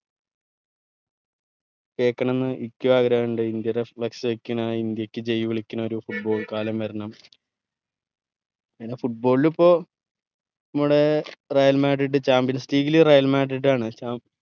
കേക്കണം ന്ന് ഇനിക്കും ആഗ്രഹഇണ്ട് ഇന്ത്യയുടെ flux വെക്കണ ഇന്ത്യക്ക് ജയ് വിളിക്കണ ഒരു football കാലം വരണം അങ്ങനെ football ൽ ഇപ്പൊ നമ്മടെ Real madrid Champions League ൽ Real Madrid ആണ് ചാം